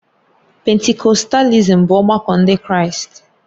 Pentikọstalism bụ ọgbakọ Ndị Kraịst.